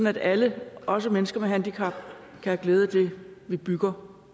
at alle også mennesker med handicap kan have glæde af det vi bygger